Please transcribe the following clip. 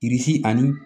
Bilisi ani